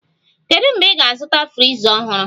Kedu mgbe ị ga-azụta friza ọhụrụ?